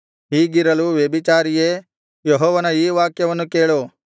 ಹೀಗಿರಲು ವ್ಯಭಿಚಾರಿಯೇ ಯೆಹೋವನ ಈ ವಾಕ್ಯವನ್ನು ಕೇಳು